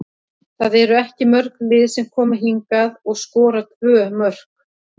Það eru ekki mörg lið sem koma hingað og skora tvö mörk.